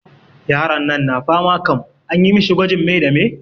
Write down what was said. Yaron nan na fama kam, anyi mishi gwajin me da me?